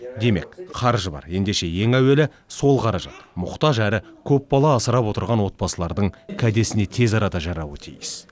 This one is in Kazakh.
демек қаржы бар ендеше ең әуелі сол қаражат мұқтаж әрі көп бала асырап отырған отбасылардың кәдесіне тезарада жарауы тиіс